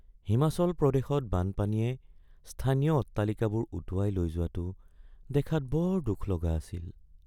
হিমাচল প্ৰদেশত বানপানীয়ে স্থানীয় অট্টালিকাবোৰ উটুৱাই লৈ যোৱাটো দেখাত বৰ দুখলগা আছিল।